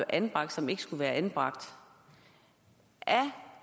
anbragt som ikke skulle have været anbragt er